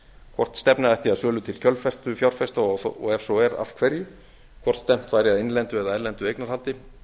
hvort stefna ætti að sölu til kjölfestufjárfesta og ef svo er af hverju hvort stefnt væri að innlendu eða erlendu eignarhaldi